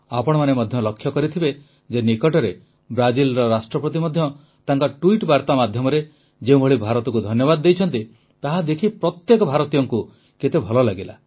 ଆପଣମାନେ ମଧ୍ୟ ଲକ୍ଷ୍ୟ କରିଥିବେ ଯେ ନିକଟରେ ବ୍ରାଜିଲର ରାଷ୍ଟ୍ରପତି ମଧ୍ୟ ତାଙ୍କର ଟ୍ୱିଟ୍ ବାର୍ତ୍ତା ମାଧ୍ୟମରେ ଯେଉଁଭଳି ଭାରତକୁ ଧନ୍ୟବାଦ ଦେଇଛନ୍ତି ତାହାଦେଖି ପ୍ରତ୍ୟେକ ଭାରତୀୟଙ୍କୁ କେତେ ଭଲ ଲାଗିଲା